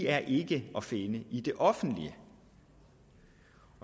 er ikke at finde i det offentlige